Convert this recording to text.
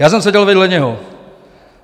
Já jsem seděl vedle něho.